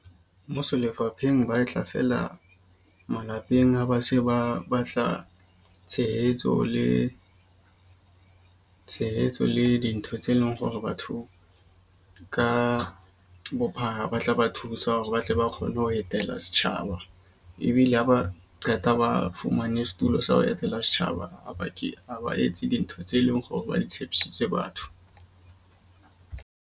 Mmuso lefapheng ba e tla fela malapeng a basheba ba batla tshehetso le tshehetso le dintho tse leng hore batho ka bophara ba tla ba thusa hore ba tle ba kgone ho etela setjhaba. Ebile ha ba qeta ba fumane setulo sa ho etela setjhaba ha ba ke ba etse dintho tse leng hore ba di tshepisitse batho.